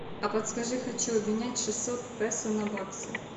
а подскажи хочу обменять шестьсот песо на баксы